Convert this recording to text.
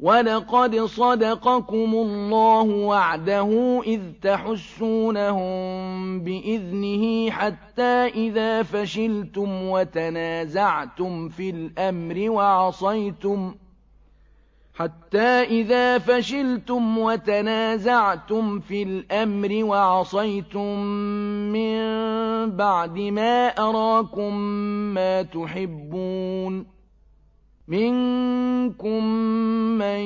وَلَقَدْ صَدَقَكُمُ اللَّهُ وَعْدَهُ إِذْ تَحُسُّونَهُم بِإِذْنِهِ ۖ حَتَّىٰ إِذَا فَشِلْتُمْ وَتَنَازَعْتُمْ فِي الْأَمْرِ وَعَصَيْتُم مِّن بَعْدِ مَا أَرَاكُم مَّا تُحِبُّونَ ۚ مِنكُم مَّن